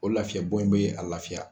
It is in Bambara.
O lafiya bɔ in bɛ a lafiya.